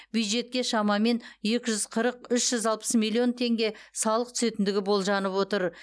бюджетке шамамен екі жүз қырық үш жүз алпыс миллион теңге салық түсетіндігі болжанып отыр